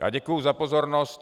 Já děkuji za pozornost.